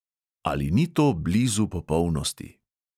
Ali ni to blizu popolnosti?